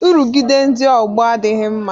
Nrụgide ndị ọgbọ adịghị mma